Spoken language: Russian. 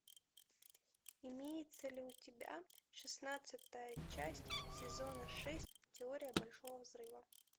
имеется ли у тебя шестнадцатая часть сезона шесть теория большого взрыва